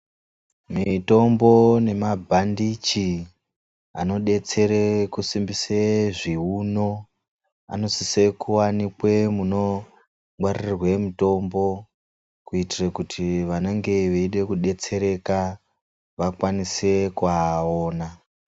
Mitombo nemabhandichi anodetsere kusimbisa zviuno anosise kuwanikwe muno ngwarirurwe mutombo kuitira kuti vanenge vachiide kudetsereka vakwanise kuaona.